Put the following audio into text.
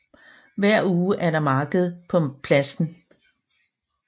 Hver uge er der marked på pladsen